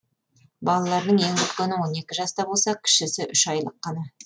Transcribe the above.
балаларының ең үлкені он екі жаста болса кішісі үш айлық қана